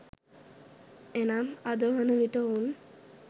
එනම් අදවන විට ඔවුන්